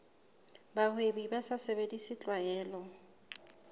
bahwebi ba sa sebedise tlwaelo